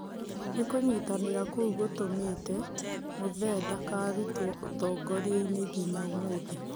Nĩ kunyitanĩra kũu gutumĩte Muthee ndakarutwo ũtongoriainĩ nginya ũmũthi.